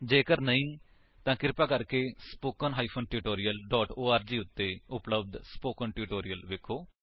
ਜੇਕਰ ਨਹੀਂ ਤਾਂ ਕ੍ਰਿਪਾ ਸਪੋਕਨ ਟਿਊਟੋਰੀਅਲ ਓਰਗ ਉੱਤੇ ਉਪਲੱਬਧ ਸਪੋਕਨ ਟਿਊਟੋਰਿਅਲਸ ਵੇਖੋ